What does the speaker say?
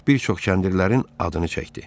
Cek bir çox kəndirlərin adını çəkdi.